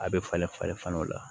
A bɛ falen falen falen o la